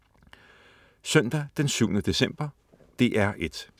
Søndag den 7. december - DR1: